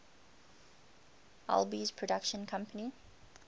alby's production company